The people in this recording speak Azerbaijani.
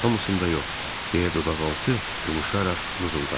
Hamısında yox, deyə dodaqaltı qımışaraq mızıldandı.